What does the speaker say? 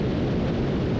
İndi görək nə olur.